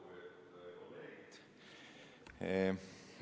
Lugupeetud kolleegid!